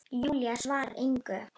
Júlía svarar engu.